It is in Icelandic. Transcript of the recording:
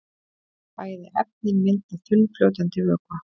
Bæði efnin mynda þunnfljótandi vökva.